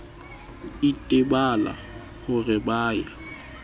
itebala ho re ba ya